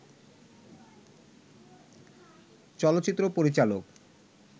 চলচ্চিত্র পরিচালক